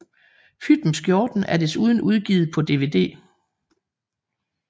Pyt med Skjorten er desuden udgivet på DVD